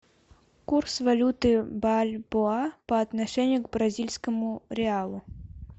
курс валюты бальбоа по отношению к бразильскому реалу